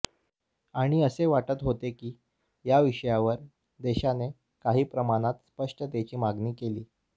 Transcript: आणि असे वाटत होते की या विषयावर देशाने काही प्रमाणात स्पष्टतेची मागणी केली